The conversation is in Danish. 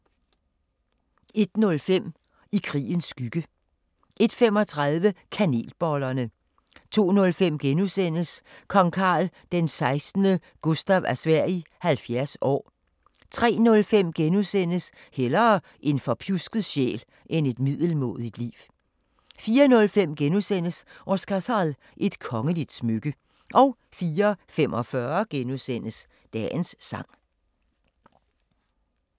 01:05: I krigens skygge 01:35: Kanelbollerne 02:05: Kong Carl XVI Gustaf af Sverige 70 år * 03:05: Hellere en forpjusket sjæl end et middelmådigt liv * 04:05: Oscarshall – et kongeligt smykke * 04:45: Dagens sang *